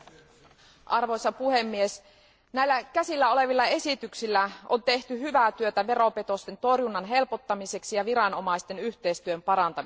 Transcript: Arvoisa puhemies, käsiteltävänä olevilla esityksillä on tehty hyvää työtä veropetosten torjunnan helpottamiseksi ja viranomaisten yhteistyön parantamiseksi.